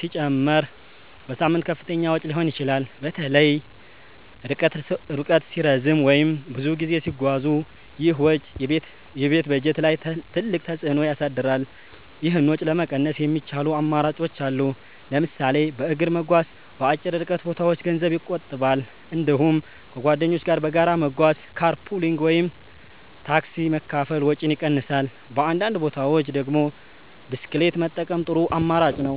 ሲጨመር በሳምንት ከፍተኛ ወጪ ሊሆን ይችላል። በተለይ ርቀት ሲረዝም ወይም ብዙ ጊዜ ሲጓዙ ይህ ወጪ የቤት በጀት ላይ ትልቅ ተፅዕኖ ያሳድራል። ይህን ወጪ ለመቀነስ የሚቻሉ አማራጮች አሉ። ለምሳሌ በእግር መጓዝ በአጭር ርቀት ቦታዎች ገንዘብ ይቆጥባል። እንዲሁም ከጓደኞች ጋር በጋራ መጓጓዝ (car pooling ወይም ታክሲ መካፈል) ወጪን ይቀንሳል። በአንዳንድ ቦታዎች ደግሞ ብስክሌት መጠቀም ጥሩ አማራጭ ነው።